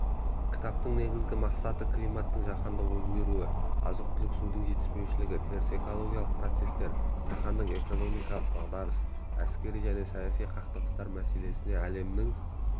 кітаптың негізгі мақсаты климаттың жаһандық өзгеруі азық-түлік судың жетіспеушілігі теріс экологиялық процестер жаһандық экономикалық дағдарыс әскери және саяси қақтығыстар мәселесіне әлемнің